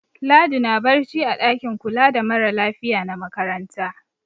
Ladi na barci a ɗakin kula da mara lafiya na makaranta.